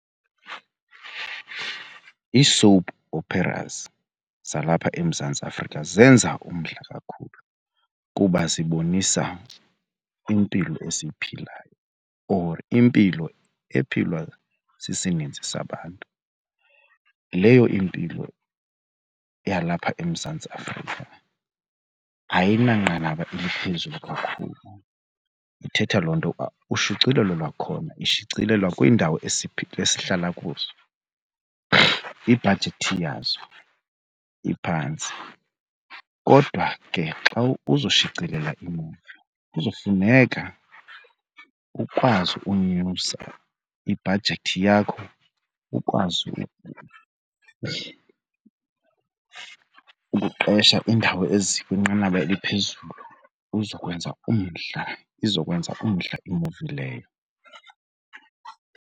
Ii-soap operas zalapha eMzantsi Afrika zenza umdla kakhulu kuba zibonisa impilo esiyiphilayo or impilo ephilwa sisininzi sabantu. Leyo impilo yalapha eMzantsi Afrika ayinanqanaba eliphezulu kakhulu. Ithetha loo nto uba ushicilelo lwakhona ishicilelwa kwiindawo esihlala kuzo, ibhajethi yazo iphantsi. Kodwa ke xa uza shicilela iimuvi kuzofuneka ukwazi ukunyusa ibhajethi yakho, ukwazi ukuqesha iindawo ezikwinqanaba eliphezulu uzokwenza umdla, izokwenza umdla imuvi leyo.